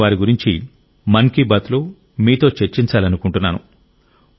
నేను వారి గురించి మన్ కీ బాత్లో మీతో చర్చించాలనుకుంటున్నాను